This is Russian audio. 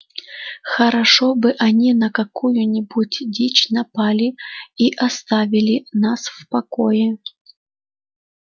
хорошо бы они на какую-нибудь дичь напали и оставили нас в покое